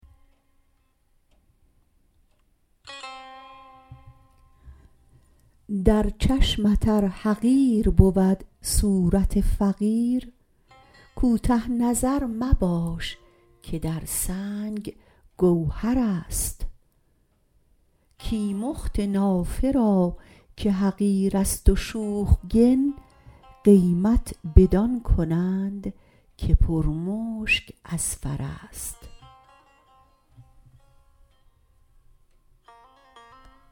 در چشمت ار حقیر بود صورت فقیر کوته نظر مباش که در سنگ گوهرست کیمخت نافه را که حقیرست و شوخگن قیمت بدان کنند که پر مشک اذفرست